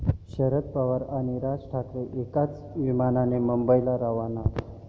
शरद पवार आणि राज ठाकरे एकाच विमानाने मुंबईला रवाना